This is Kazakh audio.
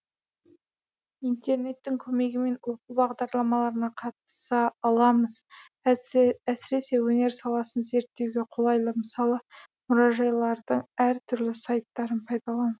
интернеттің көмегімен оқу бағдарламаларына қатыса аламыз әсіресе өнер саласын зерттеуге қолайлы мысалы мұражайлардың әр түрлі сайттарын пайдалану